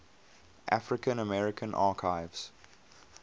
african american archives